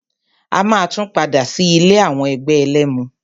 A máa tún padà sí ilé àwọn ẹgbẹ́ ẹlẹ́mu.